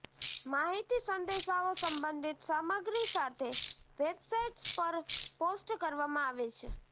માહિતી સંદેશાઓ સંબંધિત સામગ્રી સાથે વેબસાઇટ્સ પર પોસ્ટ કરવામાં આવે છે